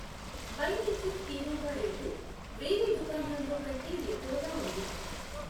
By nature quinoa rate వేరే దుకాణాల్లో కంటే ఎక్కువగా ఉంది.